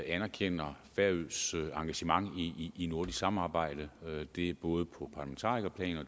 anerkender færøernes engagement i nordisk samarbejde det er både på parlamentarikerplan